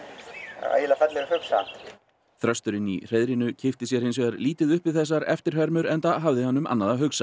ægilega fallegur fugl samt þrösturinn í hreiðrinu kippti sér hins vegar lítið upp við þessar eftirhermur enda hafði hann um annað að hugsa